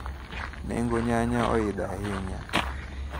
Nengo nyanya oidho ahinya.